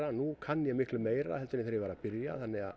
nú kann ég miklu meira heldur en þegar ég var að byrja